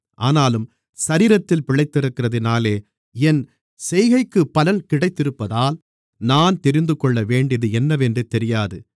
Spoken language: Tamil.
ஆனாலும் சரீரத்தில் பிழைத்திருக்கிறதினாலே என் செய்கைக்குப் பலன் கிடைத்திருப்பதால் நான் தெரிந்துகொள்ளவேண்டியது என்னவென்று தெரியாது